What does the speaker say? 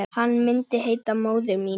Hann myndi heita Móðir mín.